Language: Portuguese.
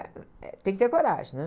Ah, eh... Tem que ter coragem, né?